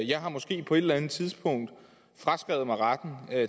jeg har måske på et eller anden tidspunkt fraskrevet mig retten